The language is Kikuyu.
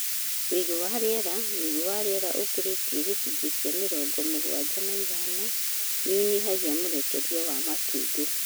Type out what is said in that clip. Uigũ wa rĩera: ũigũ wa rĩera ũkĩrĩtie gĩcũnjĩ kĩa mĩrongo mũgwanja na ithano nĩũnyihagia mũrekerie wa matumbĩ